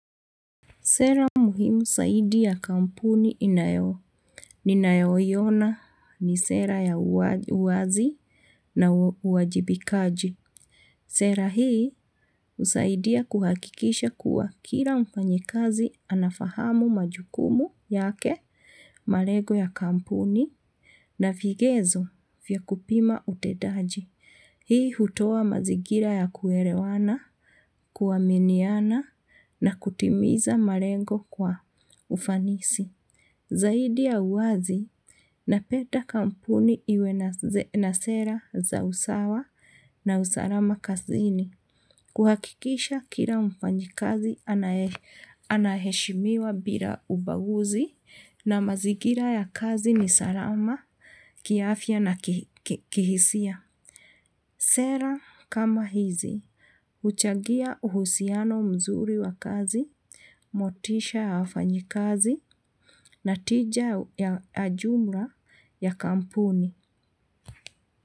Sera muhimu zaidi ya kampuni inayo ninayoiona ni sera ya uwazi na uwajibikaji. Sera hii husaidia kuhakikisha kuwa kila mfanyikazi anafahamu majukumu yake, malego ya kampuni na vigezo vya kupima utendaji. Hii hutoa mazingira ya kuelewana, kuaminiana na kutimiza malengo kwa ufanisi. Zaidi ya uwazi napenda kampuni iwe na sera za usawa na usalama kazini. Kuhakikisha kila mfanyikazi anaheshimiwa bila ubaguzi na mazingira ya kazi ni salama, kiafya na kihisia. Sera kama hizi, huchangia uhusiano mzuri wa kazi, motisha ya wafanyikazi na tija ya jumla ya kampuni.